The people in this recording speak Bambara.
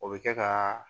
O bɛ kɛ kaaa